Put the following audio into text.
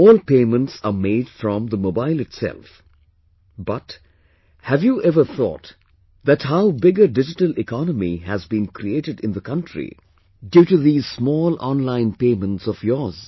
All payments are made from mobile itself, but, have you ever thought that how big a digital economy has been created in the country due to these small online payments of yours